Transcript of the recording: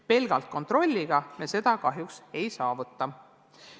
Pelgalt kontrolliga me seda kahjuks ei saavuta.